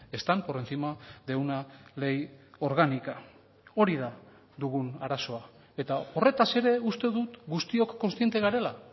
están por encima de una ley orgánica hori da dugun arazoa eta horretaz ere uste dut guztiok kontziente garela